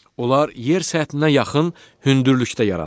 Onlar yer səthinə yaxın hündürlükdə yaranır.